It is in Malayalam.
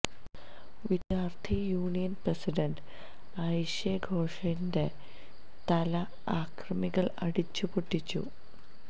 വിദ്യാർഥി യൂണിയൻ പ്രസിഡന്റ് ഐഷെ ഘോഷിന്റെ തല അക്രമികൾ അടിച്ച് പൊട്ടിച്ചു